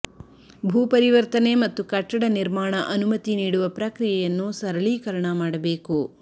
ಭೂ ಪರಿವರ್ತನೆ ಮತ್ತು ಕಟ್ಟಡ ನಿರ್ಮಾಣ ಅನುಮತಿ ನೀಡುವ ಪ್ರಕ್ರಿಯೆಯನ್ನು ಸರಳೀಕರಣ ಮಾಡಬೇಕು